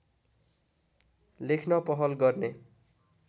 लेख्न पहल गर्ने